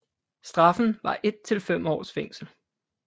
Straffen var et til fem års fængsel